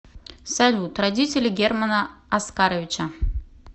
салют родители германа оскаровича